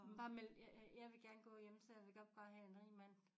Bare meld jeg vil gerne gå hjemme så jeg vil godt bare have en rig mand